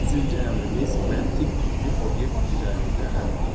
Üçüncü əmrimiz məntiq tipli obyekt üzərində əmrdir.